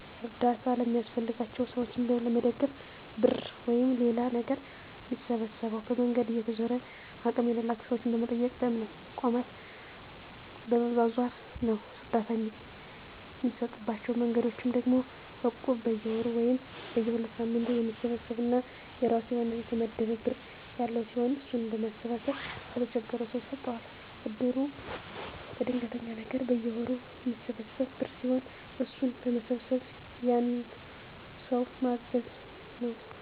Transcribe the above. አርዳታ ለሚያስፈልጋቸው ሰዎችን ለመደገፍ ብር ወይም ሌላ ነገር ሚሰበሰበው፦ በመንገድ እየተዞረ፣ አቅም ያላቸው ሰዎችን በመጠየቅ፣ በእምነት ተቋማት በመዟዟር ነው። እርዳታ እሚሰጡባቸው መንገዶች ደግሞ እቁብ፦ በየወሩ ወይም በየ ሁለት ሳምንቱ የሚሰበሰብ እና የራሱ የሆነ የተመደበ ብር ያለው ሲሆን እሱን በማሰባሰብ ለተቸገረው ሰው ይሰጠዋል። እድር፦ ለድንገተኛ ነገር በየወሩ ሚሰበሰብ ብር ሲሆን እሱን በመሰብሰብ ያንን ሰው ማገዝ ነው።